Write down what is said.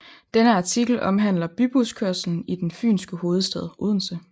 Denne artikel omhandler bybuskørslen i den Fynske hovedstad Odense